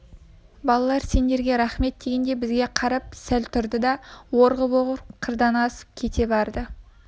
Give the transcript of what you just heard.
балалар сендерге рақмет дегендей бізге қарап сәл тұрды да орғып-орғып қырдан асып кете барды